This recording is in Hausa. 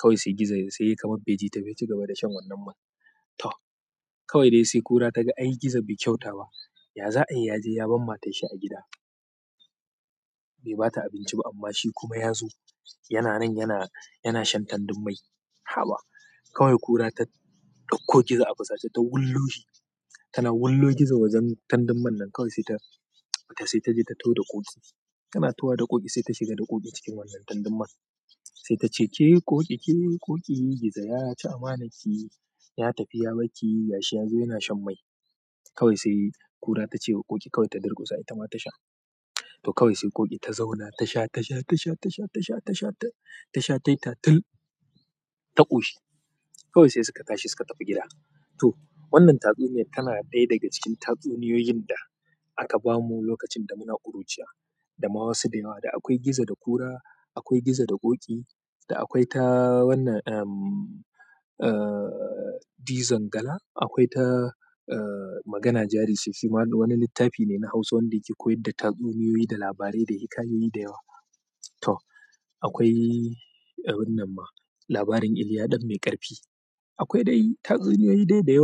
Kawai sai gizo yayi kamar bai ji ta ba, ya ci gaba da shan wannan man. To, kawai dai sai ƙura ta ga ai gizo bai kyauta ba. Ya za'ayi ya je ya bar matarshi a gida? Bai ba ta abinci ba amma shi kuma ya zo yana nan yana shan tandun mai. Haba! Kawai ƙura ta ɗauko gizo a fusace ta wullo shi. Tana wullo gizo wajen tandun man nan kawai sai ta, sai taje ta taho da ƙoƙi. Tana taho wa da ƙoƙi, saida shiga da ƙoƙi cikin wannan tandun man. Sai ta ce, "Ke Ƙoƙi, ke Ƙoƙi, Gizo ya ci amanarki, ya tafi ya bar ki, gashi ya zo yana shan mai." Kawai sai ƙura ta ce wa Ƙoƙi kawai ta durƙusa, ita ma ta sha. To kawai sai Ƙoƙi ta zauna tasha, tasha, tasha, tasha, tasha, tasha' tasha tayi ta til ta ƙoshi. Kawai sai suka tashi suka tafi gida. To, wannan tatsuniya tana ɗaya daga cikin tatsuniyoyin da aka bamu lokacin da muna ƙuruciya da ma wasu da yawa. Da akwai gizo da ƙura, akwai gizo da Ƙoƙi. Da akwai ta wannan, Dizon dala, akwai ta, magana jari ce shi ma wani littafi ne na Hausa wanda yake koyar da tatsuniyoyi, da labarai, da hikayoyi da yawa. To, akwai, wannan ma, labarin Iliya ɗan mai ƙarfi. Akwai dai tatsuniyoyi dai da yawa.